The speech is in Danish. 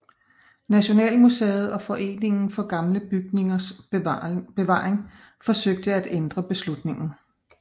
Nationalmuseet og Foreningen for Gamle Bygningers Bevaring forsøgte at ændre beslutningen